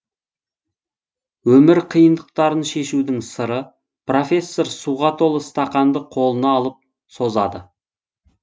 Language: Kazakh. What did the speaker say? өмір қиындықтарын шешудің сыры профессор суға толы стақанды қолына алып созады